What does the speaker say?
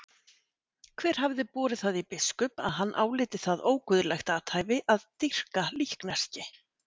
Hver hafði borið það í biskup að hann áliti það óguðlegt athæfi að dýrka líkneski?